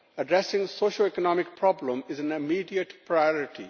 Addressing the socioeconomic problems is an immediate priority.